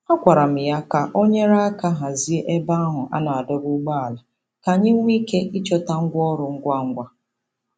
A gwara m ya ka o nyere aka hazie ebe ahụ a na-adọba ụgbọala ka anyị nwee ike ịchọta ngwa ọrụ ngwa ngwa.